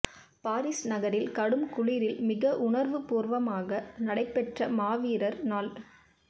Paris நகரில் கடும் குளிரில் மிக உணர்வுபூர்வமாக நடைபெற்ற மாவீரர் நாள்